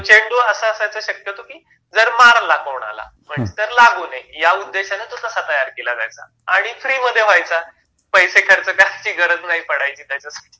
तो चेंडू असा असायचा शक्यतो कि जर मारला कोणाला तर लागू नये, ह्या उद्देशाने तो तसा तयार केला जायचा. आणि फ्री मधे व्हायचा.,पैसे खर्च करायची गरज नाही पडायची त्याच्यासाठी